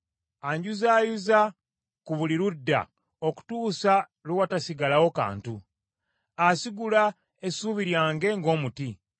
Anjuzaayuza ku buli ludda okutuusa lwe watasigalawo kantu, asigula essuubi lyange ng’omuti.